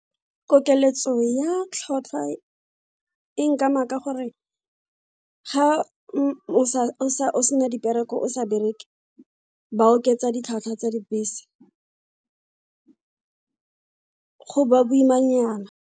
Kokeletso ya tlhotlhwa e nkama ka gore ga o sena dipereko o sa bereke ba oketsa ditlhwatlhwa tsa dibese, go ba boimanyana.